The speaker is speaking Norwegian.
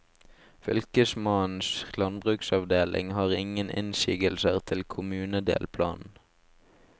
Fylkesmannens landbruksavdeling har ingen innsigelser til kommunedelplanen.